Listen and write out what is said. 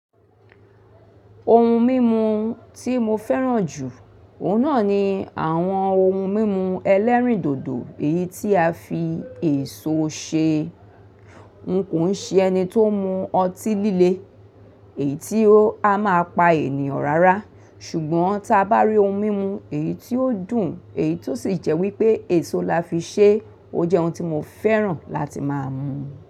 Ohun mímu tí mo fẹ́ràn jù, òun náà ni àwọn ohun mímu ẹlẹ́rìndòdò èyí tí a fi èso ṣe. N kò ń ṣe ẹni tó ń mu ọtí líle, èyí tí a máa pa ènìyàn rárá, ṣùgbọ́n tí a bá rí ohun mímu èyí tí ó dùn, èyí tó sì jẹ́ wípé èso la fi ṣe, ó jẹ́ ohun tí mo fẹ́ràn láti máa mu.